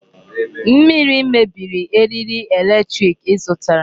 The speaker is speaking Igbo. Mmiri mebiri eriri electric ị zụtara.